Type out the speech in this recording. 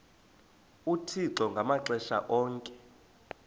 uthixo ngamaxesha onke